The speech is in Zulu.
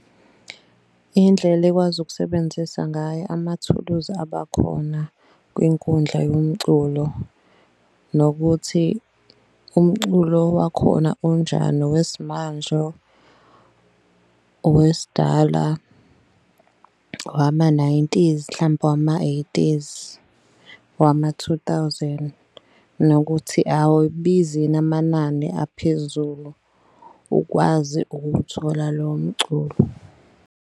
Indlela ekwazi ukusebenzisa ngayo amathuluzi abakhona kwinkundla yomculo nokuthi umculo wakhona unjani. Owesimanje, owesidala, owama-nineties, mhlampe owama-eighties, owama-two thousand. Nokuthi awubizi yini amanani aphezulu ukwazi ukuwuthola lowo mculo.